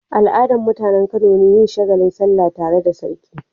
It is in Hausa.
Al'adar mutAnan Kano ne yin shagalin sallah tare da sarki